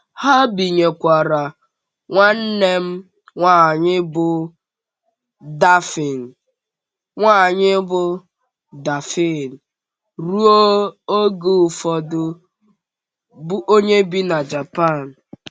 Ha bìnyèkwàrà nwanne m nwanyị bụ́ Dáphné nwanyị bụ́ Dáphné ruo oge ụfọdụ, bụ́ onye bi na Japan.